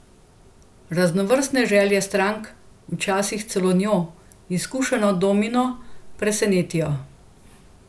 Raznovrstne želje strank včasih celo njo, izkušeno domino, presenetijo.